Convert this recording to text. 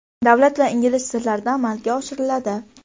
davlat va ingliz tillarida amalga oshiriladi.